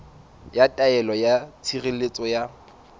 ya taelo ya tshireletso ya